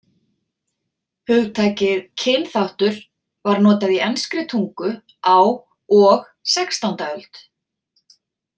Hugtakið kynþáttur var notað í enskri tungu á og sextánda öld.